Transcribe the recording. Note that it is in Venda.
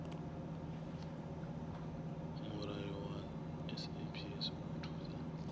mulayo wa saps u thusa